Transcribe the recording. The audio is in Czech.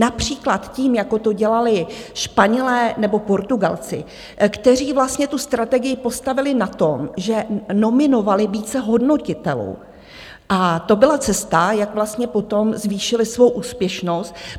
Například tím, jako to dělali Španělé nebo Portugalci, kteří vlastně tu strategii postavili na tom, že nominovali více hodnotitelů, a to byla cesta, jak vlastně potom zvýšili svou úspěšnost.